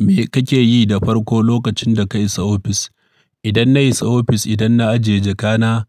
Me kake yi da farko lokacin da ka isa ofis? Idan na isa ofis, idan na ajiye jakana,